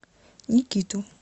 никиту